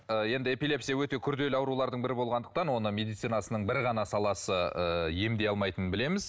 ы енді эпилепсия өте күрделі аурулардың бірі болғандықтан оны медицинасының бір ғана саласы ы емдей алмайтынын білеміз